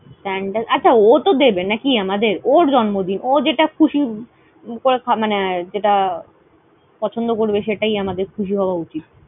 আচ্ছা, ওত দেবে নাকি আমদের। ওর জন্মদিন। ও যেটা খুশি মানে যেটা পছন্দ করবে সেটাই আমাদের খুশি হয়া উচিত।